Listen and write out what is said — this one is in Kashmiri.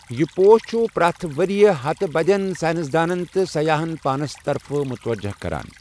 یہِ پوش چھُ پرٛٮ۪تھ ؤرۍ یہِ ہَتہٕ بٔدۍ سائنسدَان تہٕ سیاحَن پانَس طرفہٕ متوجہ کران۔